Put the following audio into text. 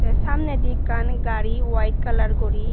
tey samnedi ekkan gari white kalar guri.